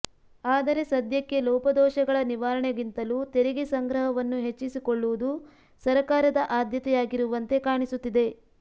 ಆದರೆ ಸದ್ಯಕ್ಕೆ ಲೋಪದೋಷಗಳ ನಿವಾರಣೆಗಿಂತಲೂ ತೆರಿಗೆ ಸಂಗ್ರಹವನ್ನು ಹೆಚ್ಚಿಸಿಕೊಳ್ಳುವುದು ಸರಕಾರದ ಆದ್ಯತೆಯಾಗಿರುವಂತೆ ಕಾಣಿಸುತ್ತಿದೆ